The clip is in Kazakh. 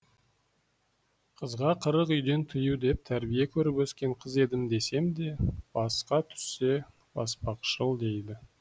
қызға қырық үйден тыю деп тәрбие көріп өскен қыз едім десем де басқа түссе баспақшыл дейді